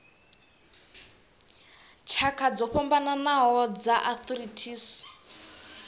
tshakha dzo fhambanaho dza arthritis